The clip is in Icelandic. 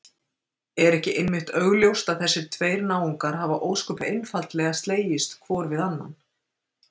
Er ekki einmitt augljóst að þessir tveir náungar hafa ósköp einfaldlega slegist hvor við annan?